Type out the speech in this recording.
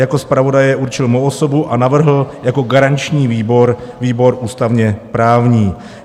Jako zpravodaje určil mou osobu a navrhl jako garanční výbor výbor ústavně-právní.